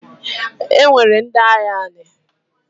E nwere ndị agha anị.